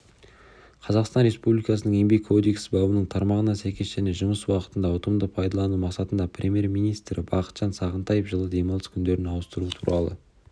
қазақстан республикасының еңбек кодексі бабының тармағына сәйкес және жұмыс уақытын ұтымды пайдалану мақсатында премьер-министрі бақытжан сағынтаев жылы демалыс күндерін ауыстыру туралы